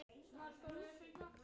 LÁRUS: Illa!